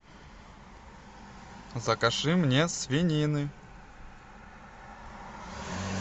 закажи мне свинины